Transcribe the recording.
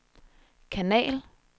kanal